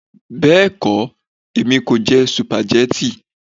Bẹ́ẹ̀kọ́, èmi kò jẹ sùpàgẹ́tì